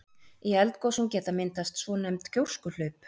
Í eldgosum geta myndast svonefnd gjóskuhlaup.